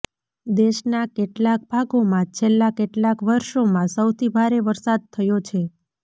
દેશના કેટલાક ભાગોમાં છેલ્લા કેટલાક વર્ષોમાં સૌથી ભારે વરસાદ થયો છે